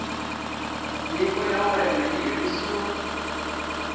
nyiko ya wena yi herisiwa